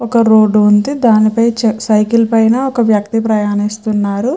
ఒక రోడ్డు ఉంది. దాని పైన ఒక వ్యక్తి సైకిల్ మీద ప్రయాణిస్తున్నాడు.